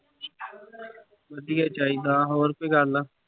ਵਧੀਆ ਚਾਹੀਦਾ ਹੋਰ ਕੋਈ ਗੱਲ।